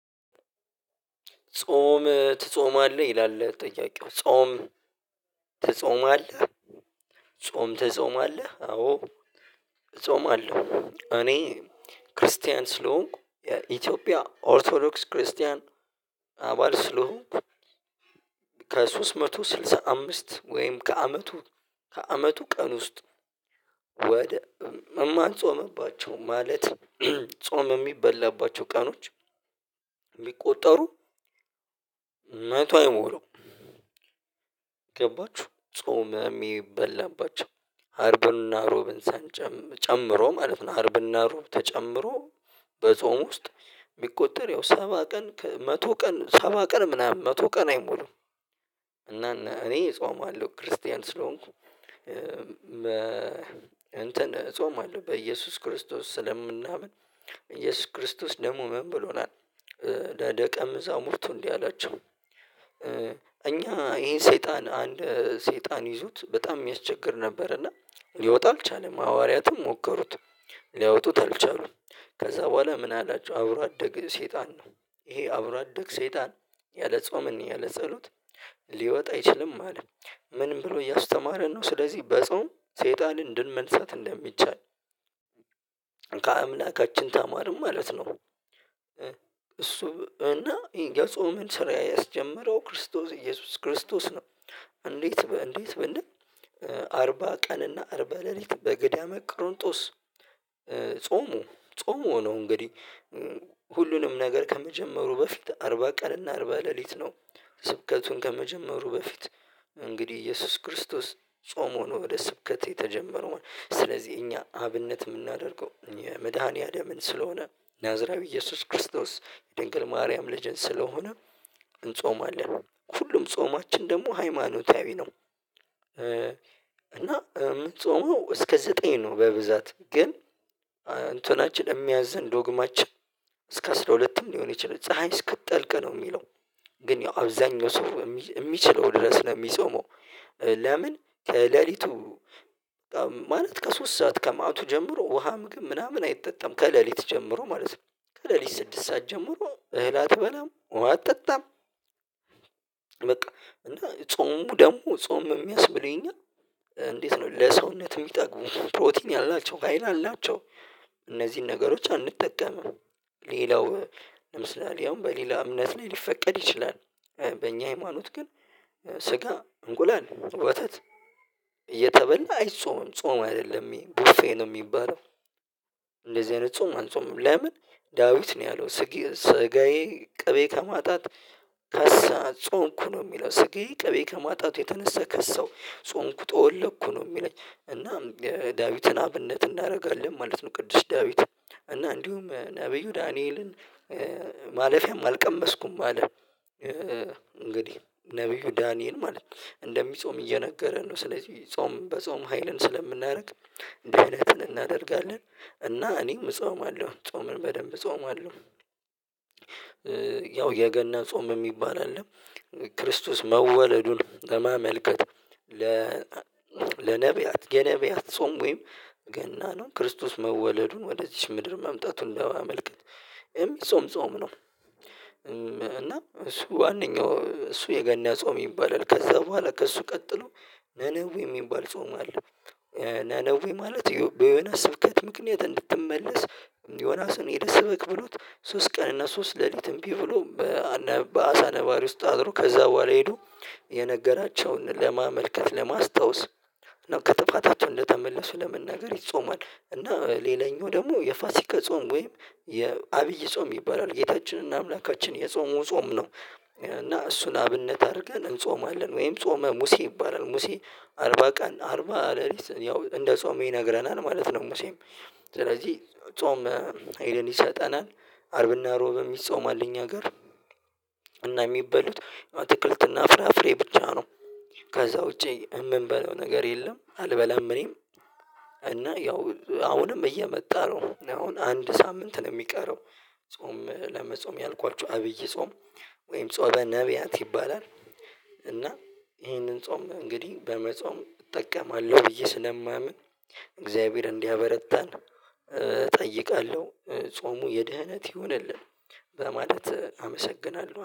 ጾም ትጾማለህ ይላል ጥያቄው ጾም ትጾማለህ ጾም ትጾም አለህ አዎ እጾም አለው እኔ ክርስቲያን ስለሆንኩ የኢትዮጵያ ኦርቶዶክስ ክርስቲያን አባል ስለሆንኩ፤ ከሶስት መቶ ስልሳ አምስት ወይም ከአመቱ ከአመቱ ቀን ውስጥ ወደ እማልጾምባቸው ማለት ጾም የሚበላባቸው ቀኖች የሚቆጠሩ መቶ አይሞላውም። ገባችሁ ጾም አርብና ሮብን ሳንጨም ጨምሮ ማለት ነው። አርብና ሮብ ተጨምሮ በጾም ውስጥ የሚቆጠር ያው ሰባ ቀን መቶ ቀን ሰባ ቀን ምናምን መቶ ቀን አይሞሉም። እና እኔ እጾማለሁ ክርስቲያን ስለሆንኩ እንትን እጾማለሁ። በኢየሱስ ክርስቶስ ስለምናምን ኢየሱስ ክርስቶስ ደግሞ ምን ብሎናል ለደቀምዛሙርቱ እንዲህ አላቸው። እኛ ይሄን ሰይጣን አንድ ሰይጣን ይዙት በጣም የሚያስቸግር ነበር። እና ሊወጣ አልቻለም ሐዋርያቱም ሞከሩት ሊያወጡት አልቻሉም። ከዛ በኋላ ምን አላቸው። አብሮ አደገ ሰይጣን ነው። ይሄ አብሮ አደገ ሰይጣን ያለ ጾምን ያለ ጸሎት ሊወጣ አይችልም። አለ ምንም ብሎ እያስተማረን ነው ስለዚህ በጾም ሰይጣንን እንድንመልሰት እንደሚቻል። ከአምላካችን ታማሪም ማለት ነው። እሱ እና የጾምን ስራ ያስጀመረው ክርስቶስ ኢየሱስ ክርስቶስ ነ። እንዴት እንዴት በእንደም አርባ ቀን እና አርባ ሌሊት በገዳመ ቅርንጦስ ጾሙ ጾሙ ሆኖ እንግዲህ ሁሉንም ነገር ከመጀመሩ በፊት አርባ ቀን እና አርባ ሌሊት ነው ስብከቱን ከመጀመሩ በፊት እንግዲህ ኢየሱስ ክርስቶስ ጾም ሆኖ ወደ ስብከት የተጀመረው። ስለዚህ እኛ አብነት የምናደርገው የመድኃኒያለምን ስለሆነ ናዝራዊ ኢየሱስ ክርስቶስ የድንግል ማርያም ልጅን ስለሆነ እንጾማለ። ሁሉም ጾማችን ደግሞ ሃይማኖታዊ ነው። እና የምጾመው እስከ ዘጠኝ ነው በብዛት ግን አንተ ናችን የሚያዝን ዶግማችን እስከ አስራ ሁለትም ሊሆን የቻለ ፀሀይ እስክትጠልቅ ነው የሚለው። ግን ያው አብዛኛው ሰው የሚችለው ድረስ ለሚጾመው። ለምን ሌሊቱ ማለት ከሶስት ሰዓት ከማቱ ጀምሮ ውሃም ግን ምናምን አይጠጣም። ከሌሊት ጀምሮ ማለት ነው። ከሌሊት ስድስት ሰዓት ጀምሮ እህል አትበላም ውሃ አትጠጣም። በቃ እና ጾሙ ደግሞ ጾም የሚያስብለኝ እኛ እንዴት ነው። ለሰውነቱ ይጠቅሙ ፕሮቲን ያላቸው ካይል አላቸው እነዚህን ነገሮች አንጠቀምም። ሌላው ለምሳሌ አሁን በሌላ እምነት ላይ ሊፈቀድ ይችላል። በኛ ሃይማኖት ግን ስጋ እንቁላል ወተት እየተበላ አይጾምም። ጾም አይደለም። ይሄ ቡፌ ነው የሚባለው። እንደዚህ አይነት ጾም አንጾምም። ለምን ዳዊት ነው ያለው ስጋዬ ቅቤ ከማጣት ከሳ ጾምኩ ነው። የሚለው ስጌ ቅቤ ከማጣቱ የተነሳ ከሳው ጾምኩ። ጠወለኩ ነው የሚለኝ እናም ዳዊትን አብነት እናደርጋለን። ማለት ነው ቅዱስ ዳዊት። እና እንዲሁም ነብዩ ዳንኤልን። ማለፊያም አልቀመስኩም አለ። እንግዲህ ነብዩ ዳንኤል ማለት ነው። እንደሚጾም እየነገረ ነው። ስለዚህ ጾም በጾም ሀይልን ስለምናደርግ እንደዚህ አይነት እናደርጋለን። እና እኔም እጾማለሁ። ጾምን በደንብ እጾማለሁ። ያው የገና ጾም የሚባል አይደለም። ክርስቶስ መወለዱን ለማመልከት ለ ገነብያት ጾም ወይም ገና ነው ክርስቶስ መወለዱን ወደዚች ምድር መምጣቱን ለማመልከት የሚጾም ጾም ነው። እና እሱ ዋናው እሱ የገና ጾም ይባላል። ከዛ በኋላ ከእሱ ቀጥሎ ነነዌ የሚባል ጾም አለ። ነነዌ ማለት በዮናስ ስብከት ምክንያት እንድትመለስ ዮናስን የደስ ብቅ ብሎት ሶስት ቀን እና ሶስት ሌሊትም ቢብሎ በአሳ ነባሪ ውስጥ አድሮ ከዛ በኋላ ሄዶ የነገራቸውን ለማመልከት ለማስታወስ ነው ከጥፋታቸው እንደተመለሱ ለመናገር ይጾማል። እና ሌላኛው ደግሞ የፋሲካ ጾም ወይም የአብይ ጾም ይባላል። ጌታችንና አምላካችን የጾሙ ጾም ነው። እና እሱን አብነት አድርገን እንጾማለን። ወይም ጾመ ሙሴ ይባላል። ሙሴ አርባ ቀን አርባ ሌሊት ያው እንደ ጾም ይነግረናል። ማለት ነው ሙሴም ስለዚህ ጾም ሀይልን ይሰጠናል። አርብ እና ሮብ ይጾማል እኛ ሀገር እና የሚበሉት አትክልትና ፍራፍሬ ብቻ ነው። ከዛ ውጪ የምንበለው ነገር የለ። አልበላም እኔም። እና ያው አሁንም እየመጣ ነው አሁን አንድ ሳምንት ነው የሚቀረው። ጾም ለመጾም ያልኳችሁ አብይ ጾም። ወይም ጾመ ነብያት ይባላል እና ይሄንን ጾም እንግዲህ በመጾም እጠቀማለሁ። ብዬ ስለማምን እግዚአብሔር እንዲያበረታን እጠይቃለሁ። ጾሙ የደህነት ይሁንልን በማለት አመሰግናለሁ።